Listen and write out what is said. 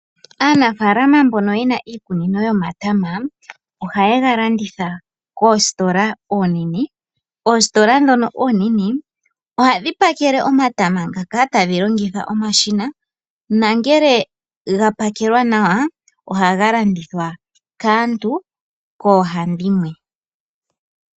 Aanafalama mbono ye na iikunino yomatama ohaye ga landitha koositola oonene. Oositola ndhono oonene ohadhi pakele omatama ngaka tadhi longitha omashina nongele ga pakelwa nawa ohaga landithwa kaantu koohandimwe.